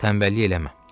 Qalx tənbəllik eləmə.